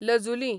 लजुलीं